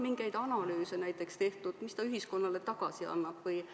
Kas on tehtud ka näiteks mingeid analüüse, et näha, kui palju ülikool ühiskonnale tagasi annab?